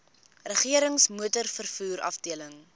regerings motorvervoer afdeling